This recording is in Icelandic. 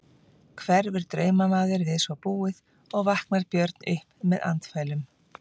Hverfur draumamaður við svo búið og vaknar Björn upp með andfælum.